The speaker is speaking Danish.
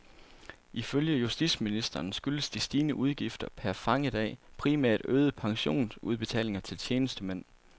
Ifølge justitsministeren skyldes de stigende udgifter per fangedag primært øgede pensionsudbetalinger til tjenestemænd.